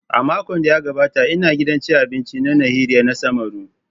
A makon da ya gabata ina gidan cin abinci na Nihari na samaru.